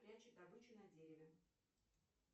прячет добычу на дереве